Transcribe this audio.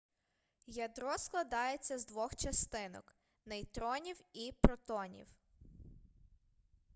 ядро складається з двох частинок нейтронів і протонів